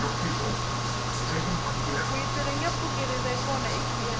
gwitsi ringe pfuki rive kona egiyani